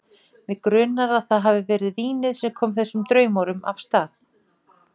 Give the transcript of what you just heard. Mig grunar, að það hafi verið vínið sem kom þessum draumórum af stað.